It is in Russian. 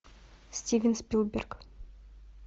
стивен спилберг